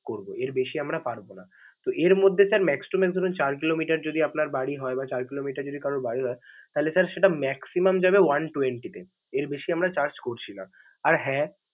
করব, এর বেশি আমরা পারবো না. তো এর মধ্যে sir max two max ধরেন চার কিলোমিটার যদি আপনার বাড়ি হয় বা চার কিলোমিটার যদি কারর বাড়ি হয় তাহলে sir সেটা maximum যাবে one-twenty তে, এর বেশি আমরা charge করছি না, আর হ্যা।